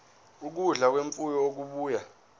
ukudla kwemfuyo okubuya